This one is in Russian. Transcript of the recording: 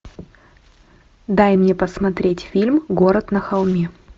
дай мне посмотреть фильм город на холме